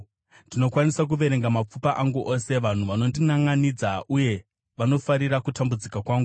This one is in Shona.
Ndinokwanisa kuverenga mapfupa angu ose; vanhu vanondinanʼanidza uye vanofarira kutambudzika kwangu.